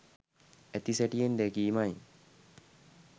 ඇති සැටියෙන් දැකීමයි.